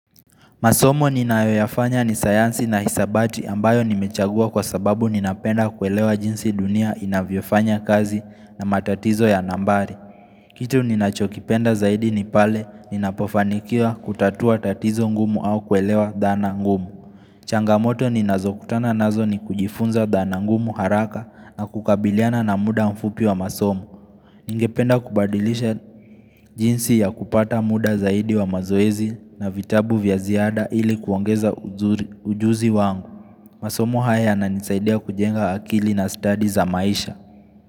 Masomo ninayoyafanya ni sayansi na hisabati ambayo nimechagua kwa sababu ninapenda kuelewa jinsi dunia inavyofanya kazi na matatizo ya nambari. Kitu ninachokipenda zaidi ni pale ninapofanikiwa kutatua tatizo ngumu au kuelewa dhana ngumu. Changamoto ninazokutana nazo ni kujifunza dhana ngumu haraka na kukabiliana na muda mfupi wa masomo. Ningependa kubadilisha jinsi ya kupata muda zaidi wa mazoezi na vitabu vya ziada ili kuongeza ujuzi wangu. Masomo haya yananisaidia kujenga akili na study za maisha.